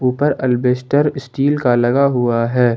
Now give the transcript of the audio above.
ऊपर अल्बेस्टर स्टील का लगा हुआ है।